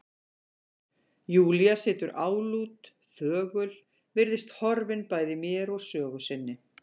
Júlía situr álút, þögul, virðist horfin bæði mér og sögu sinni.